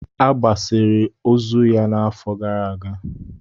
A gbasiri ozu ya n'afọ gara aga.